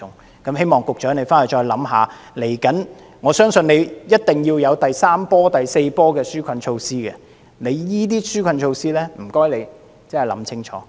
局長，希望你回去考慮一下，不久的將來，我相信一定會有第三波、第四波的紓困措施，請你好好審視你這些紓困措施。